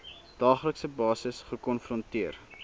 daaglikse basis gekonfronteer